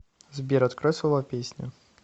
сбер открой слова песни